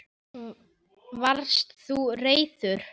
Varst þú reiður?